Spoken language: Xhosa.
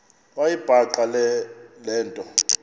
wayibhaqa le nto